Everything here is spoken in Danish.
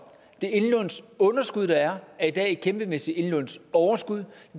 det indlånsunderskud der er er i dag et kæmpemæssigt indlånsoverskud